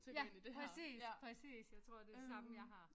Ja præcis præcis jeg tror det det samme jeg har